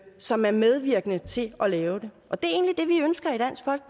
som er medvirkende til at lave den og det